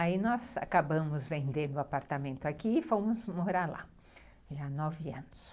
Aí nós acabamos vendendo o apartamento aqui e fomos morar lá, já nove anos.